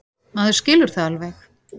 Maður skilur það alveg.